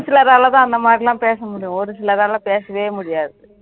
சிலராலதான் அந்த மாதிரி எல்லாம் பேச முடியும் ஒரு சிலரால பேசவே முடியாது அதான் உண்மை